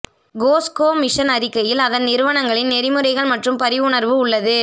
Costco mission அறிக்கையில் அதன் நிறுவனர்களின் நெறிமுறைகள் மற்றும் பரிவுணர்வு உள்ளது